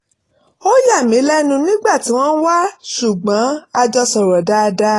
ó yà mí lẹ́nu nígbà tí wọ́n wá ṣùgbọ́n a jọ sọ̀rọ̀ dáadáa